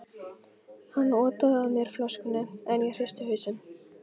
Hann otaði að mér flöskunni, en ég hristi hausinn.